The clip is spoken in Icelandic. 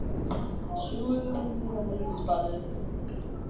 Við urðum bæði að hætta störfum.